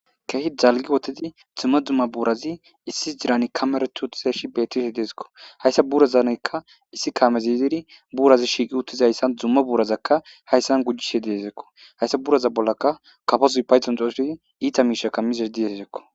keehi dalgi utedi dimma dumma buurazi issi dirani kamaretu uttizeshi betishe deesekko hayssa burazaneykka issi kamezidiri buurazi shiiqi uttizayssan dzumma buurazakka hayssan gujjishe deesekko hayssa buraza bollaka kafazuy payton xooshsi iita miishaka mizer dieseseko